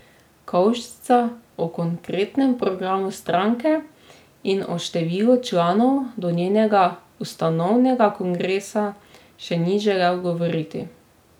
Kovšca o konkretnem programu stranke in o številu članov do njenega ustanovnega kongresa še ni želel govoriti.